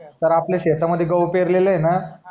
तर आपल्या शेता मध्ये कस गहू पेरलेले आहे न